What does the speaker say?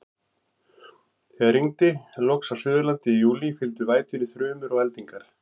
Þegar rigndi loks á Suðurlandi í júlí, fylgdu vætunni þrumur og eldingar.